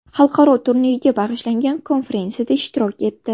Xalqaro turnirga bag‘ishlangan konferensiyada ishtirok etdi.